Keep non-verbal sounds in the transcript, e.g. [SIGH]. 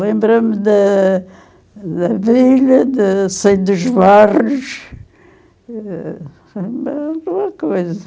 Lembra-me da da vila, [UNINTELLIGIBLE] dos bairros, eh, alguma coisa.